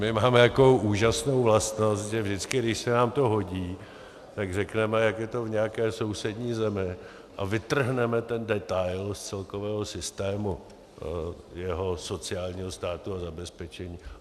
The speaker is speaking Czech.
My máme takovou úžasnou vlastnost, že vždycky, když se nám to hodí, tak řekneme, jak je to v nějaké sousední zemi, a vytrhneme ten detail z celkového systému jeho sociálního státu a zabezpečení.